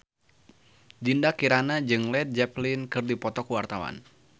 Dinda Kirana jeung Led Zeppelin keur dipoto ku wartawan